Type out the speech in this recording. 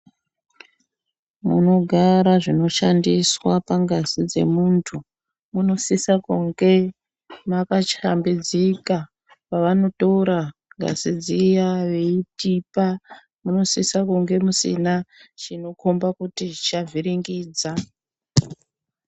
Munogara zvinoshandiswa pangazi dzomuntu munosisa kunge makahlambidzika pavanotora ngazi dziya veitipa munosisa kunge musina chinokomba kuti chicha vhiringidza.